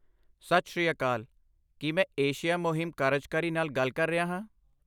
ਸਤਿ ਸ੍ਰੀ ਅਕਾਲ! ਕੀ ਮੈਂ ਏਸ਼ੀਆ ਮੁਹਿੰਮ ਕਾਰਜਕਾਰੀ ਨਾਲ ਗੱਲ ਕਰ ਰਿਹਾ ਹਾਂ?